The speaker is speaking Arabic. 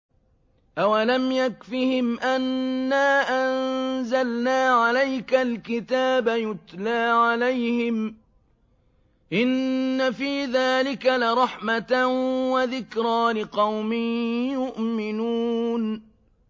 أَوَلَمْ يَكْفِهِمْ أَنَّا أَنزَلْنَا عَلَيْكَ الْكِتَابَ يُتْلَىٰ عَلَيْهِمْ ۚ إِنَّ فِي ذَٰلِكَ لَرَحْمَةً وَذِكْرَىٰ لِقَوْمٍ يُؤْمِنُونَ